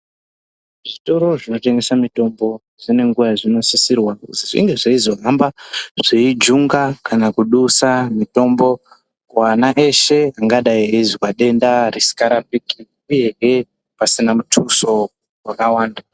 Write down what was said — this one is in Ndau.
Zvitoro zvinotengese mitombo zvinenge zveisisirwa kunge zvinge zveizohamba zveijunga Kana kudusa mitombo kuana eshe angadai eizwe denda risikarapiki uyehe pasina muthuso wakawanda.